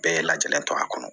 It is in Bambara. Bɛɛ lajɛlen to a kɔnɔ